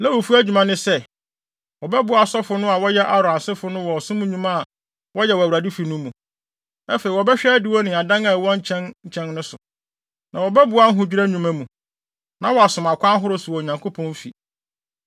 Na Lewifo no adwuma ne sɛ, wɔbɛboa asɔfo no a wɔyɛ Aaron asefo no wɔ ɔsom nnwuma a wɔyɛ wɔ Awurade fi no mu. Afei, wɔbɛhwɛ adiwo ne adan a ɛwɔ nkyɛn nkyɛn no so. Na wɔbɛboa ahodwira nnwuma mu, na wɔasom akwan ahorow so wɔ Onyankopɔn fi.